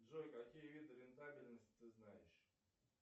джой какие виды рентабельности ты знаешь